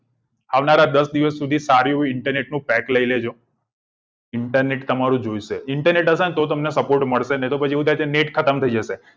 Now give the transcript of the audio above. આવનારા દશ દિવસ સુધી સારું એવું internet નું pack લઇ લેજો internet તમારું જોઇશે internet હશે તો તમને support મળશે અને પછી એવું થાય છેને net ખતમ થઈ જશે